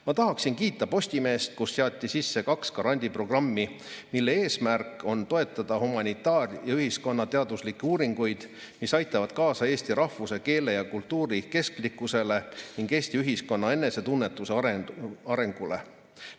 Ma tahaksin kiita Postimeest, kes seadis sisse kaks grandiprogrammi, mille eesmärk on toetada humanitaar- ja ühiskonnateaduslikke uuringuid, mis aitavad kaasa eesti rahvuse, keele ja kultuuri kestlikkusele ning Eesti ühiskonna enesetunnetuse arengule.